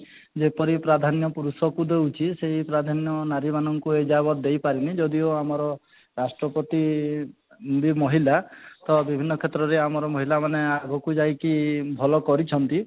ଯେପରି ପ୍ରାଧାନ୍ୟ ପୁରୁଷକୁ ଦେଉଛି ସେଇ ପ୍ରାଧାନ୍ୟ ନାରୀ ମାନଙ୍କୁ ଏ ଯାବତ ଦେଇ ପାରିନି ଯଦି ଓ ଆମର ରାଷ୍ଟ୍ରପତି ବି ମହିଳା ତ ବିଭିର୍ନ କ୍ଷେତ୍ରରେ ଆମର ମହିଳା ମାନେ ଆଗକୁ ଯାଇକି ଭଲ କରିଛନ୍ତି